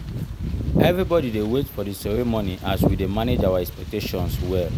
everybody dey wait for the ceremony as we dey manage our expectations well.